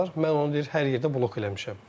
Mən onu deyir hər yerdə blok eləmişəm.